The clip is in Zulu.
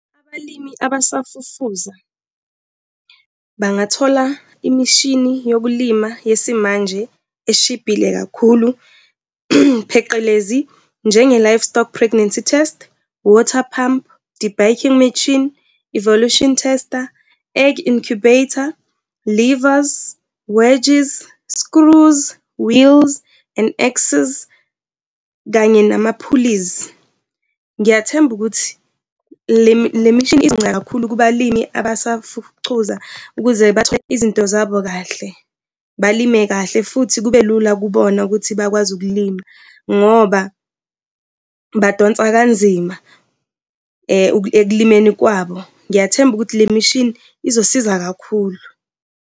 Abalimi abasafufusa bangathola imishini yokulimala yesimanje eshibhile kakhulu, pheqelezi njenge-livestock pregnancy test, water pump debagging machine, evolution tester, egg incubator, levers, wedges, screws, wheels and axes, kanye nama-pulleys. Ngiyathemba ukuthi le le mishini izonceda kakhulu kubalimi abasafucuza ukuze bathole izinto zabo kahle, balime kahle futhi kube lula kubona ukuthi bakwazi ukulima ngoba badonsa kanzima ekulimeni kwabo. Ngiyathemba ukuthi le mishini izosiza kakhulu.